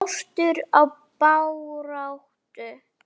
Var skortur á baráttu?